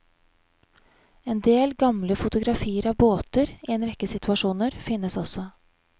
En del gamle fotografier av båter i en rekke situasjoner finnes også.